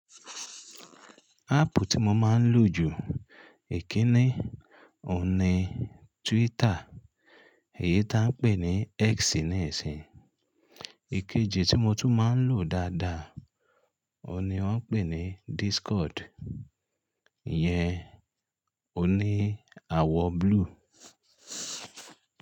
Áàpù tí mo máa ń lò jù èkínní òhun ní Twitter, èyí tá ń pè ní X níìsín, ìkéje tí mo tún máa ń lò dáadáa òhun ní wọ́n ń pè ní Discord, ìyẹn òní àwọ̀ blue.